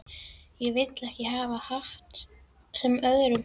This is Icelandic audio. Ég vildi ekki hafa hatt sem öðrum þótti ljótur.